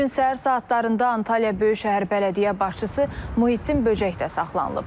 Bu gün səhər saatlarında Antalya Böyükşəhər Bələdiyyə başçısı Muhiddin Böcək də saxlanılıb.